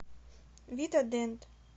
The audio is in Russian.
вита дент